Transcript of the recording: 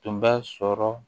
Tun bɛ sɔrɔ